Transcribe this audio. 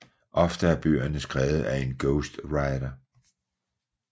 Ofte er bøgerne skrevet af en ghostwriter